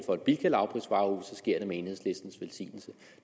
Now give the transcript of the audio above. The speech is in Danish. for et bilka lavprisvarehus sker det med enhedslistens velsignelse